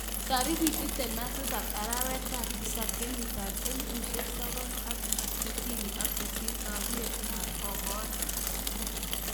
Tariki 17 arawet ab tisab 1968 taunit ab Bogota.